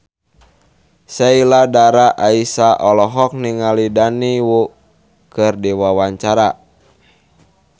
Sheila Dara Aisha olohok ningali Daniel Wu keur diwawancara